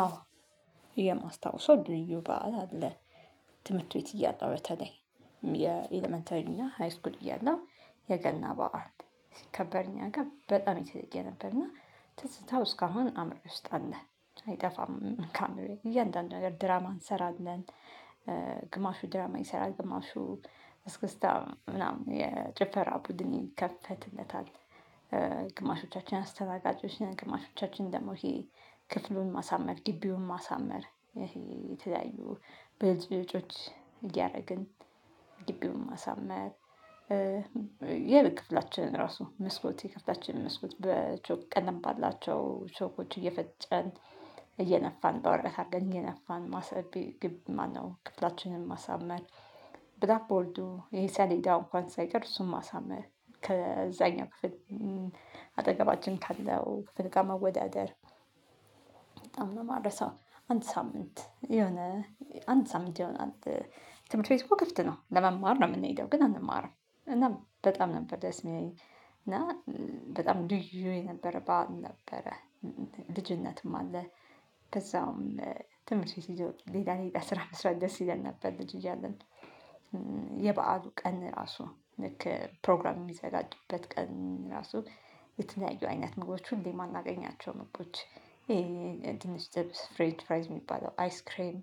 አዎ የማስታውሰው ልዩ በዓል አለ። ትምህርት ቤት እያለሁ በተለይ የኢለመንተሪና ሃይስኩል እያለው የገና በዓል ሲከበር እኛ ጋር በጣም የተለየ ነበርና ትዝታው እስካሁን አምሮዬ ውስጥ አለ አይጠፋም ካአምሮዬ እያንዳንዱ ነገር ድራማ እንሰራለን። ግማሹ ድራማ ይሰራል ግማሹ እስክስታ ምናምን የጭፈራ ቡድን ይከፈትለታል። ግማሾቻችን አስተናጋጆች ነን ግማሾቻችን ደግሞ ይሄ ክፍሉን ማሳመር ጊቢውን ማሳመር ይሄ የተለያዩ ብልጭልጮች እያደረግን ጊቢውን ማሳመር። ያለ ክፍላችን ራሱ መስኮት የክፍላችን መስኮት በቾክ ቀለም ባላቸው ቾኮች እየፈጨን እየነፋን በወረቀት አርገን እየነፋን ማሰብ ግብ ማነው ክፍላችንን ማሳመር። ብላክ ቦርዱ ይሄ ሰሌዳው እንኳን ሳይቀር እሱን ማሳመር ከዛኛ ክፍል አጠገባችን ካለው ክፍል ጋር መወዳደር። በጣም ነው ማረሳው አንድ ሳምንት የሆነ አንድ ሳምንት የሆነ አንድ ትምህርት ቤቱ እኮ ክፍት ነው ለመማር ነው የምንሄደው ግን አንማርም። እና በጣም ነበር ደስ የሚለኝ። እና በጣም ልዩ የነበረ በዓል ነበረ። ልጅነትም አለ። ከዛውም ትምህርት ሲይዘው ሌላ ሌላ ስራ መስራት ደስ ይለን ነበር ልጅ እያለን። የበአሉ ቀን ራሱ ልክ ፕሮግራም የሚዘጋጅበት ቀን ራሱ የተለያዩ አይነት ምግቦች ሁሌ የማናገኛቸው ምግቦች ይሄ ድንች ጥብስ ፍሬንች ፍራይስ የሚባለው አይስክሬም።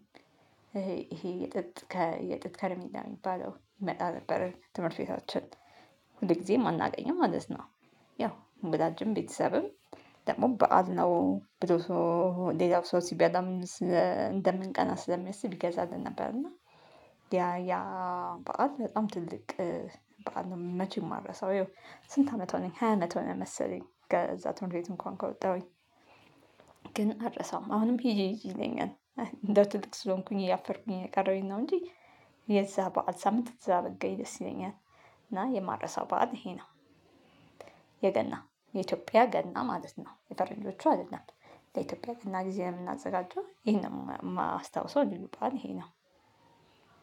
ይሄ የጥጥ ከየጥጥ ከርሜላ የሚባለው ይመጣ ነበር ትምህርት ቤታችን ሁል ጊዜም አናገኝም ማለት ነው። ያው ወላጅም ቤተሰብም ደግሞ በዓል ነው ብሎ ሰው ሌላው ሰው ሲበላም እንደምንቀና ስለሚያስብ ይገዛልን ነበር። እና ያ ያ በዓል በጣም ትልቅ በዓል መቼ የማረሳው ይኸው? ስንት አመት ሆነኝ ሃያ አመት ሆነኝ መሰለኝ ከዛ ትምህርት እንኳን ከወጣሁኝ። ግን አልረሳውም አሁንም ሂጂ ሂጂ ይለኛል እንደው ትልቅ ስለሆንኩኝ እያፈርኩኝ ነው የቀረሁኝ ነው እንጂ። የዛ በዓል ሳምንት እዛ ብገኝ ደስ ይለኛል። እና የማረሳው በዓል ይሄ ነው። የገና የኢትዮጵያ ገና ማለት ነው የፈረንጆቹ አይደለም። ለኢትዮጵያ ገና ጊዜ የምናዘጋጀው ይሄንን የማስታውሰው ልዩ በዓል ይሄ ነው።